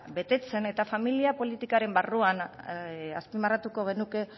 betetzen eta familia politikaren barruan azpimarratuko genuke